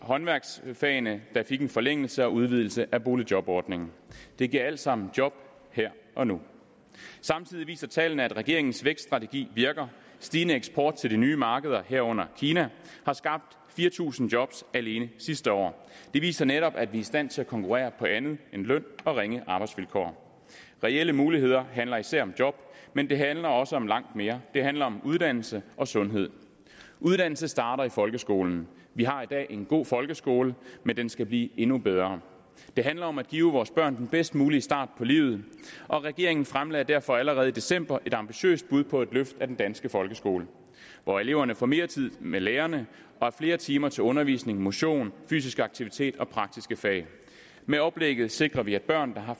håndværksfagene der fik en forlængelse og udvidelse af boligjobordningen det giver alt sammen job her og nu samtidig viser tallene at regeringens vækststrategi virker stigende eksport til de nye markeder herunder kina har skabt fire tusind job alene sidste år det viser netop at vi er i stand til at konkurrere på andet end løn og ringe arbejdsvilkår reelle muligheder handler især om job men det handler også om langt mere det handler om uddannelse og sundhed uddannelse starter i folkeskolen vi har i dag en god folkeskole men den skal blive endnu bedre det handler om at give vores børn den bedst mulige start på livet og regeringen fremlagde derfor allerede i december et ambitiøst bud på et løft af den danske folkeskole hvor eleverne får mere tid med lærerne og flere timer til undervisning motion fysisk aktivitet og praktiske fag med oplægget sikrer vi at børn der har